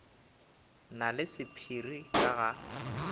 na le sephiri ka ga